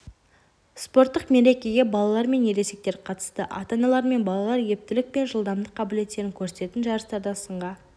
спорттық мерекеге балалар мен ересектер қатысты ата-аналар мен балалар ептілік пен жылдамдық қабілеттерін көрсететін жарыстарда сынға